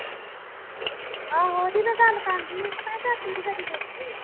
ਆਹੋ ਉਹਦੀ ਮੈ ਕੰਡ ਕੰਡ ਹੀ ਮੈ ਝਾਤੀ ਨੀ ਕਦੀ ਦੇਖੀ